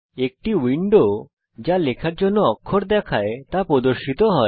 একটি উইন্ডো যা লেখার জন্য অক্ষর দেখায় তা প্রদর্শিত হয়